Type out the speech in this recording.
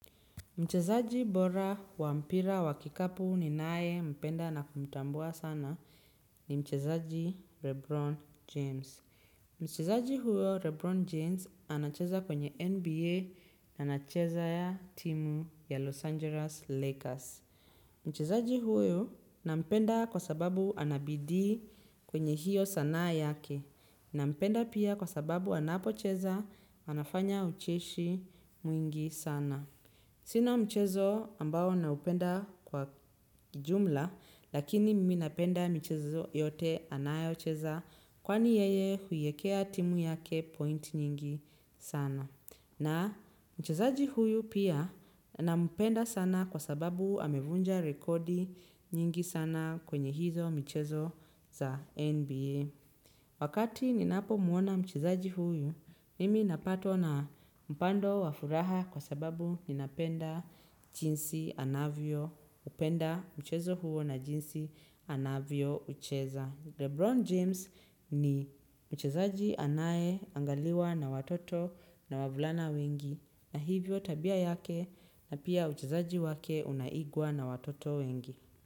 Mchezaji bora wa mpira wa kikapu ninaempenda na kumtambua sana ni mchezaji Rebron James. Mchezaji huyo Rebron James anacheza kwenye NBA anacheza ya timu ya Los Angeles Lakers. Mchezaji huyo nampenda kwa sababu ana bidii kwenye hiyo sana yake. Nampenda pia kwa sababu anapocheza anafanya ucheshi mwingi sana. Sina mchezo ambao naupenda kwa jumla lakini mimi napenda michezo yote anayocheza kwani yeye huiekea timu yake point nyingi sana. Na mchezaji huyu pia nampenda sana kwa sababu amevunja rekodi nyingi sana kwenye hizo mchezo za NBA. Wakati ninapomuona mchezaji huyu, nimi napata na mpando wa furaha kwa sababu ninapenda jinsi anavyoupenda mchezo huo na jinsi anavyoucheza. Lebron James ni mchezaji anayeangaliwa na watoto na wavulana wengi na hivyo tabia yake na pia mchezaji wake unaigwa na watoto wengi.